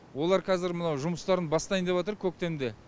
олар қазір мынау жұмыстарын бастайын деватыр көктемде